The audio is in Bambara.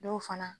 Dɔw fana